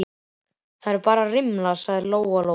Þetta eru bara rimlar, sagði Lóa-Lóa.